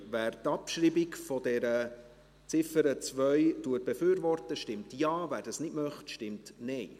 Wer die Abschreibung der Ziffer 2 befürwortet, stimmt Ja, wer dies nicht möchte, stimmt Nein.